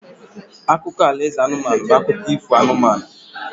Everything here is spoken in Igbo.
Akụkọ alaeze anụmanụ bụ akụkọ ifo anụmanụ